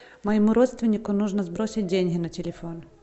моему родственнику нужно сбросить деньги на телефон